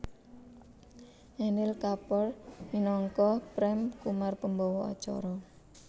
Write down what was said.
Anil Kapoor minangka Prem Kumar pembawa acara